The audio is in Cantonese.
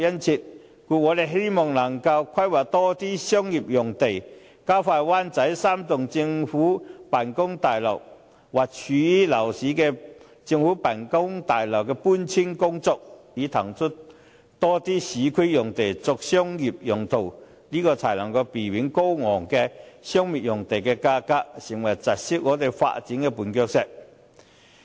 故此，我們希望能夠規劃多些商業用地，加快灣仔3幢政府辦公大樓或位於鬧市的政府辦公大樓的搬遷步伐，以騰出更多市區用地作商業用途，避免高昂的商業用地價格成為窒礙香港發展的絆腳石。